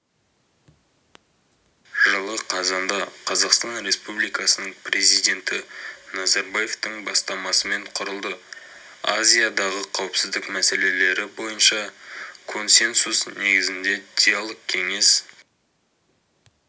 жылы қазанда қазақстан республикасының президенті назарбаевтың бастамасымен құрылды азиядағы қауіпсіздік мәселелері бойынша консенсус негізінде диалог кеңес